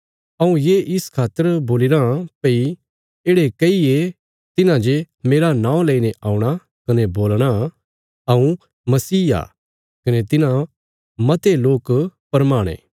हऊँ ये इस खातर बोलीराँ भई येढ़े कई ये तिन्हांजे मेरा नौं लेईने औणा कने बोलणा हऊँ मसीह आ कने तिन्हां मते लोक भरमाणे